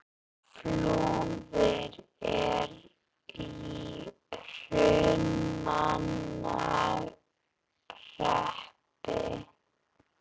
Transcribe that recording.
Flúðir er í Hrunamannahreppi.